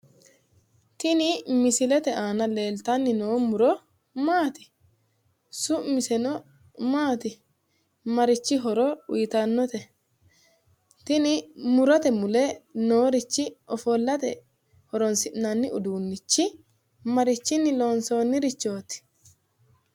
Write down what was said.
Tini misilete aana leeltanni noo muro maati? Su'miseno maati? Marichi horo uyiitannote? Tini murote mule noorichi ofollate horonsi'nanni uduunnichi marichinni loonsoonnirichooti?